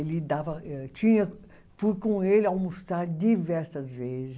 Ele dava, eh tinha, fui com ele almoçar diversas vezes.